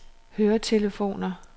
høretelefoner